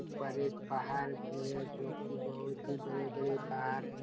ऊपर एक पहाड़ भी हैं जो कि बहुत ही बड़े-बड़े पहाड़ हैं--